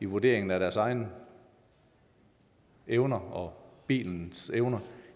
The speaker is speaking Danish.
vurderingen af deres egne evner og bilens ydeevne